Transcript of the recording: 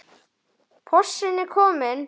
Porsinn er kominn.